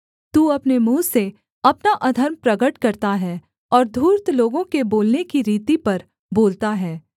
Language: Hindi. तू अपने मुँह से अपना अधर्म प्रगट करता है और धूर्त लोगों के बोलने की रीति पर बोलता है